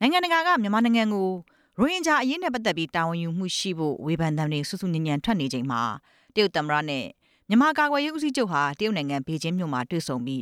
နိုင်ငံတကာက မြန်မာနိုင်ငံကို ရိုဟင်ဂျာအရေးနဲ့ပတ်သက်ပြီး တာဝန်ယူမှုရှိဖို့ ဝေဖန်သံတွေ ဆူဆူညံညံထွက်နေချိန်မှာ တရုတ်သမ္မတနဲ့ မြန်မာကာကွယ်ရေးဦးစီးချုပ်ဟာ တရုတ်နိုင်ငံ ဘေကျင်းမြို့မှာတွေ့ဆုံပြီး